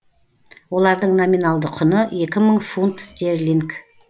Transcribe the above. олардың номиналды құны екі мың фунт стерлинг